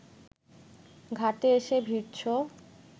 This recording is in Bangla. ঘাটে এসে ভিড়ছ